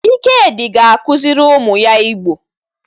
Ikedi ga-akuziri umu ya Igbo.